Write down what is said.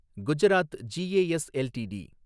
Gujarat G A S LTD